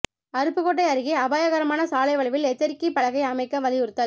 அருப்புக்கோட்டை அருகே அபாயகரமான சாலை வளைவில் எச்சரிக்கைப் பலகை அமைக்க வலியுறுத்தல்